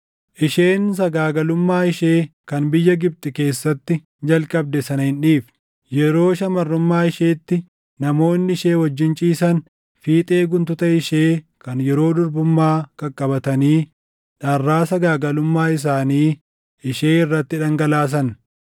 Isheen sagaagalummaa ishee kan biyya Gibxi keessatti jalqabde sana hin dhiifne; yeroo shamarrummaa isheetti namoonni ishee wajjin ciisan fiixee guntuta ishee kan yeroo durbummaa qaqqabatanii dharraa sagaagalummaa isaanii ishee irratti dhangalaasan.